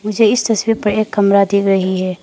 मुझे इस तस्वीर पे एक कमरा दी गई है।